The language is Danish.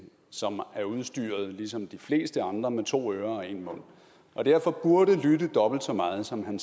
som ligesom de fleste andre med to ører og en mund og derfor burde lytte dobbelt så meget som han